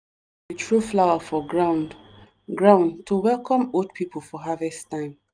throw flower for ground ground to welcome old people for harvest time.